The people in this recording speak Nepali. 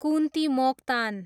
कुन्ति मोक्तान